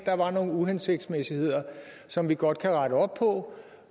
der var nogle uhensigtsmæssigheder som vi godt kan rette op på